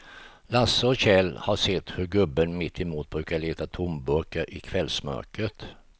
Lasse och Kjell har sett hur gubben mittemot brukar leta tomburkar i kvällsmörkret.